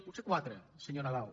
potser quatre senyor nadal